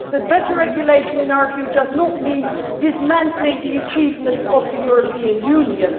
But better regulation in our view does not mean dismantling the achievements of the European Union.